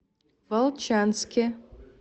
волчанске